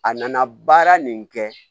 A nana baara nin kɛ